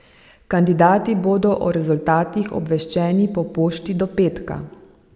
Kandidati bodo o rezultatih obveščeni po pošti do petka.